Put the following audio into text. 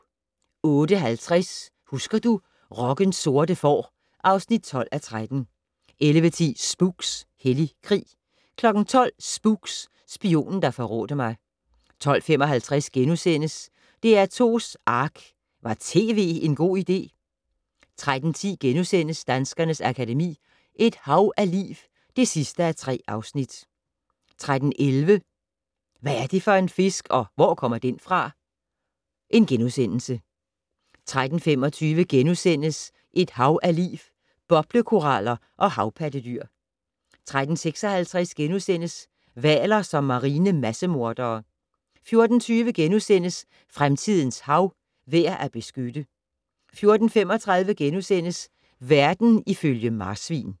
08:50: Husker du - rockens sorte får (12:13) 11:10: Spooks: Hellig krig 12:00: Spooks: Spionen der forrådte mig 12:55: DR2's Ark - Var tv en god idé? * 13:10: Danskernes Akademi: Et hav af liv (3:3)* 13:11: Hvad er det for en fisk, og hvor kommer den fra? * 13:25: Et hav af liv - Boblekoraller og havpattedyr * 13:56: Hvaler som marine massemordere * 14:20: Fremtidens hav - værd at beskytte * 14:35: Verden ifølge marsvin *